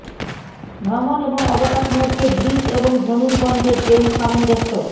ভ্রমণ এবং অবকাশ মধ্যে বৃষ এবং ধনুর্বন্ধে প্রেম সামঞ্জস্য